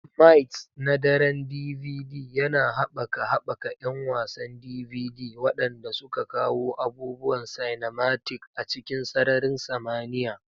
Mights na Daren DVD yana haɓaka haɓaka 'yan wasan DVD, waɗanda suka kawo abubuwan cinematic a cikin sararin samaniya.